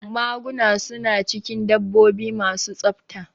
Maguna su na cikin dabbobi ma su tsafta